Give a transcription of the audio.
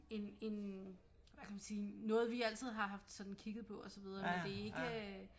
En hvad kan man sige noget vi altid har haft sådan kigget på og så videre men det er ikke øh